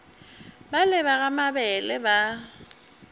bale ba ga mabele ba